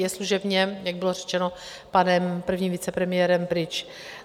Je služebně, jak bylo řečeno panem prvním vicepremiérem, pryč.